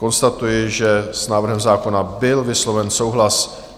Konstatuji, že s návrhem zákona byl vysloven souhlas.